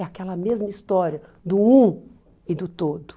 É aquela mesma história do um e do todo.